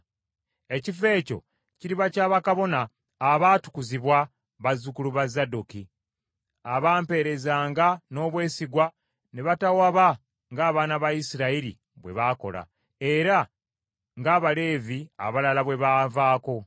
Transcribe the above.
Ekifo ekyo kiriba kya bakabona abaatukuzibwa bazzukulu ba Zadooki, abaamperezanga n’obwesigwa ne batawaba ng’abaana ba Isirayiri bwe baakola, era ng’Abaleevi abalala bwe banvaako.